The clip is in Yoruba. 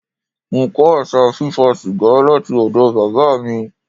Mo kọ́ àṣà fí fa sìgá láti ọ̀dọ̀ Bàbá mi.